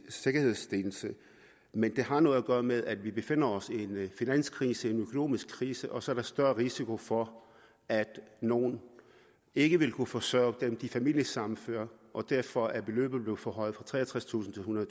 sikkerhedsstillelse men det har noget at gøre med at vi befinder os i en finanskrise en økonomisk krise og så er der større risiko for at nogle ikke vil kunne forsørge dem der bliver familiesammenført og derfor er beløbet blevet forhøjet fra treogtredstusind kroner